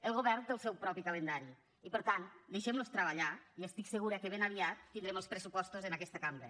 el govern té el seu propi calendari i per tant deixem los treballar i estic segura que ben aviat tindrem els pressupostos en aquesta cambra